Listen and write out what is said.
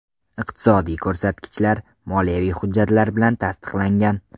Iqtisodiy ko‘rsatkichlar moliyaviy hujjatlar bilan tasdiqlangan.